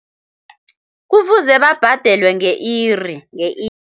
Kufuze babhadelwe nge-iri, nge-iri.